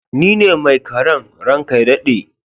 Ni ne mai karan, ran ka ya dade.